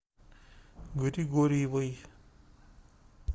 григорьевой